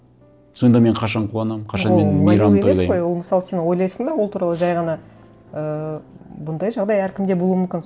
сонда мен қашан қуанамын қашан мен мейрам тойлаймын ол мысалы сен ойлайсың да ол туралы жай ғана ыыы бұндай жағдай әркімде болуы мүмкін